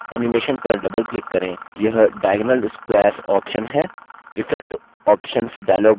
सूची में पहले animation पर doubleclick करें यह diagonal squares option है